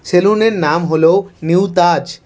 Salon -এর নাম হল নিউ তাজ ।